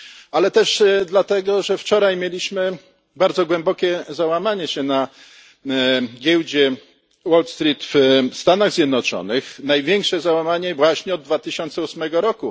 Ale też dlatego, że wczoraj mieliśmy bardzo głębokie załamanie na giełdzie Wall Street w Stanach Zjednoczonych, największe załamanie właśnie od 2008 r.